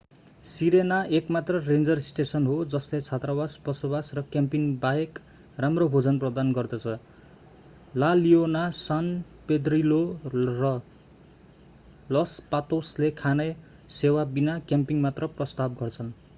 Serena एकमात्र ranger station हो जसले छात्रावास बसोबास र क्याम्पिङ बाहेक राम्रो भोजन प्रदान गर्दछ ला लियोना सान पेद्रिलो र लस पातोसले खाना सेवा बिना क्याम्पिङ मात्र प्रस्ताव गर्छन्